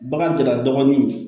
Bagan tɛ la dɔgɔnin ye